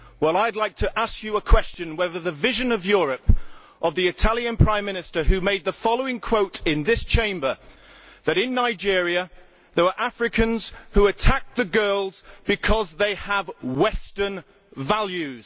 Well, I would like to ask you a question concerning the vision of Europe of the Italian Prime Minister when he made the following quote in this Chamber that in Nigeria there were Africans who attacked the girls because they have Western values.